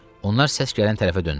Onlar səs gələn tərəfə döndülər.